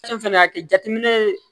Fɛn fɛn y'a kɛ jateminɛ ye